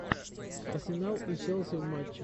арсенал и челси в матче